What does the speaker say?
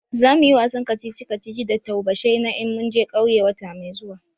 Zamuyi wasan kacici kacici da taubashai na in mun je ƙauye wata mai zuwa